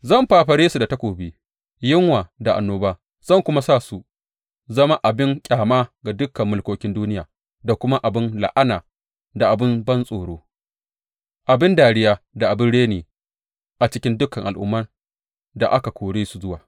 Zan fafare su da takobi, yunwa da annoba zan kuma sa su zama abin ƙyama ga dukan mulkokin duniya da kuma abin la’ana da abin bantsoro, abin dariya da abin reni, a cikin dukan al’umman da aka kore su zuwa.